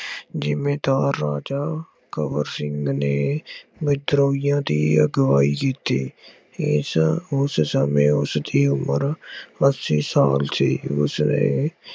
ਜਿਮੀਦਾਰ ਰਾਜਾ ਕਬਰ ਸਿੰਘ ਨੇ ਵਿਦਰੋਹੀਆਂ ਦੀ ਅਗਵਾਈ ਕੀਤੀ। ਇਸ ਉਸ ਸਮੇਂ ਉਸਦੀ ਉਮਰ ਅੱਸੀ ਸਾਲ ਸੀ। ਉਸਨੇ